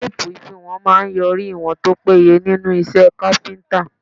Téèpù àfiwọ̀n máà ń yọrí ìwọ̀n tó péye nínú iṣẹ́ káfíńtà.